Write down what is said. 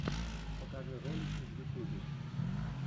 покажи ролики в ютубе